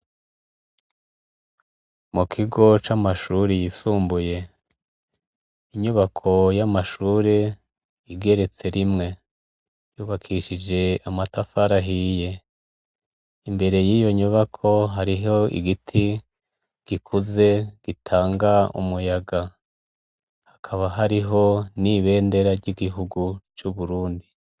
Mu kigo c'amashuri yisumbuye inyubako y'amashure igeretse rimwe yubakishije amatafarahiye imbere y'iyo nyubako hariho igiti gikuze gitanga umuyaga hakaba hariho n'ibendera ry'igihugu c'uburundi.